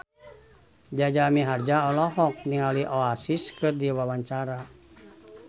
Jaja Mihardja olohok ningali Oasis keur diwawancara